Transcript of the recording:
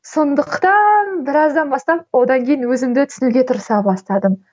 сондықтан біраздан бастап одан кейін өзімді түсінуге тырыса бастадым